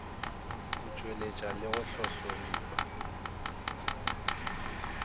go tpweletpa le go hlohlomipa